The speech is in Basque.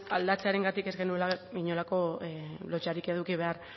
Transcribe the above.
aldatzearengatik ez genuela inolako lotsarik eduki behar